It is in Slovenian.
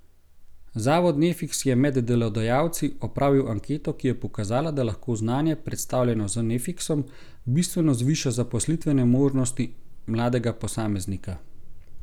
Zavod Nefiks je med delodajalci opravil anketo, ki je pokazala, da lahko znanje, predstavljeno z Nefiksom, bistveno zviša zaposlitvene možnosti mladega posameznika.